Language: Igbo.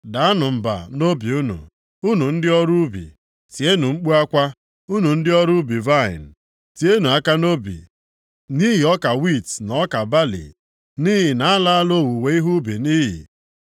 Daanụ mba nʼobi unu, unu ndị ọrụ ubi, tienụ mkpu akwa, unu ndị ọrụ ubi vaịnị. Tienụ aka nʼobi nʼihi ọka wiiti na ọka balị, nʼihi na a laala owuwe ihe ubi nʼiyi.